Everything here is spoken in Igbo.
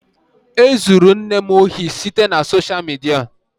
E zuru nne m ohi site na sosha midia.